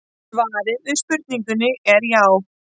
Svarið við spurningunni er já.